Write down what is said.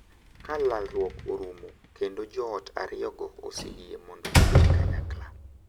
Ka lalruok orumo kendo joot ariyogo oseyie mondo gibed kanyakla,